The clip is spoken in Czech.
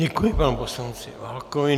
Děkuji panu poslanci Válkovi.